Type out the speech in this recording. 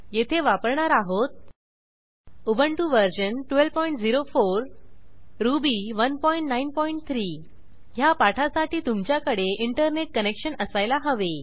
येथे वापरणार आहोत उबंटु वर्जन 1204 रुबी 193 ह्या पाठासाठी तुमच्याकडे इंटरनेट कनेक्शन असायला हवे